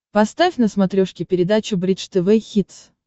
поставь на смотрешке передачу бридж тв хитс